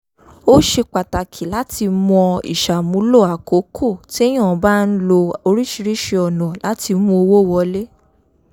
ó ṣe pàtàkì láti mọ ìṣàmúlò àkókò téyàn bá ń lo oríṣiríṣi ọ̀nà láti mú owó wọlé